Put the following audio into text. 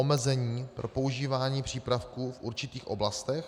omezení pro používání přípravků v určitých oblastech;